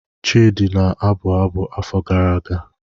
Chidi na-abụ abụ afọ gara aga.